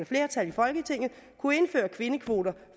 flertal i folketinget kunne indføre kvindekvoter